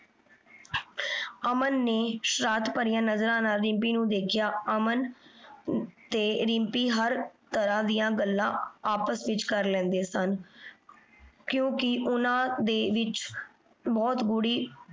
ਅਮਨ ਨੇ ਸ਼ਰਾਰਤ ਭਰਿਯਾਂ ਨਜ਼ਰਾਂ ਨਾਲ ਰਿਮ੍ਪੀ ਨੂ ਦੇਖ੍ਯਾ। ਅਮਨ ਤੇ ਰਿਮ੍ਪੀ ਹਰ ਤਰਾਂ ਦੀਆਂ ਗੱਲਾਂ ਆਪਸ ਵਿਚ ਕਰ ਲੈਂਦੇ ਸਨ। ਕਿਉਕਿ ਓਹਨਾਂ ਦੇ ਵਿਚ ਬੋਹਤ ਗੂੜੀ